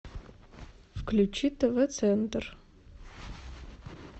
включи тв центр